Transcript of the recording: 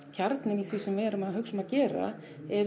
kjarninn í því sem við erum að hugsa um að gera